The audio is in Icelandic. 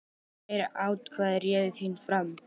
Þeirra atkvæði réðu þínum frama.